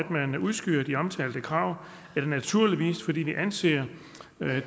at man udskyder de omtalte krav er det naturligvis fordi vi anser